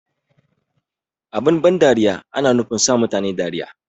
Abin ban dariya ana nufin sa mutane dariya ne